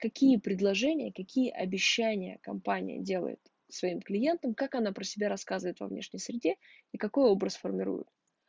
какие предложения какие обещания компания делает своим клиентам как она про себя рассказывает во внешней среде и какой образ формирует